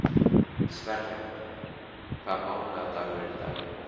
Sverre, hvaða mánaðardagur er í dag?